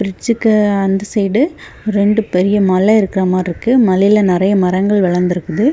பிரிட்ஜ்க்கு அந்த சைடு ரெண்டு பெரிய மலை இருக்கா மாறி இருக்கு மலைல நெறய மரங்கள் வளந்திருக்கு.